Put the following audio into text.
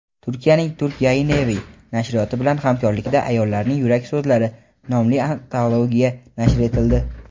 Turkiyaning "Turk Yayinevi" nashriyoti bilan hamkorlikda "Ayollarning yurak so‘zlari" nomli antologiya nashr etildi.